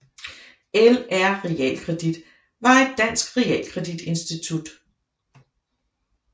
LR Realkredit var et dansk realkreditinstitut